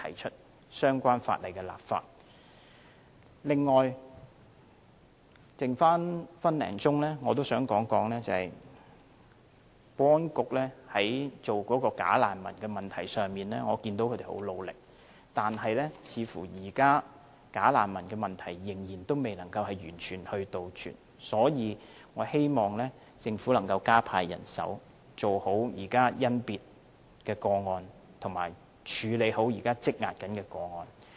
此外，在餘下的一分多鐘，我想說我看到保安局就假難民的問題上很努力，但似乎現時問題仍未能完全杜絕，所以我希望政府能夠加派人手，做好甄別工作及處理好現時積壓的個案。